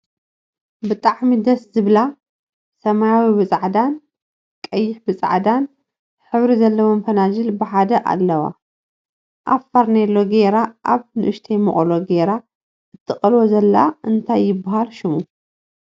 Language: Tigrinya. ብጣዕሚ ደስ ዝብላ ሰማያዊ ብፃዕዳን ቀይሕ ብፃዕዳን ሕብሪ ዘለዎን ፈናጅል ብሓደ ኣለዋ። ኣብ ፈርኔሎ ግይራ ኣብ ንእሽተይ መቅሎ ገይራ እትቀልዎ ዘላ እንታይ ይብሃል ሽሙ?